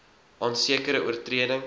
aan sekere oortredings